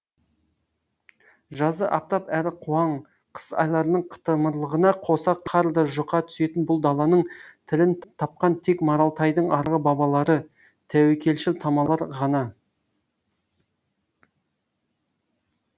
жазы аптап әрі қуаң қыс айларының қытымырлығына қоса қар да жұқа түсетін бұл даланың тілін тапқан тек маралтайдың арғы бабалары тәуекелшіл тамалар ғана